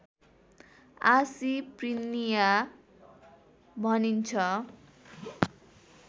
आसी प्रिनिया भनिन्छ